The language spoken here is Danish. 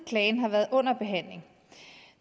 klagen har været under behandling